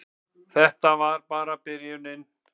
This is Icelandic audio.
Og þetta var bara byrjunin.